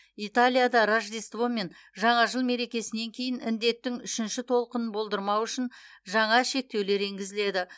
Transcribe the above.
италияда рождество мен жаңа жыл мерекесінен кейін індеттің үшінші толқынын болдырмау үшін жаңа шекетулер енгізіледі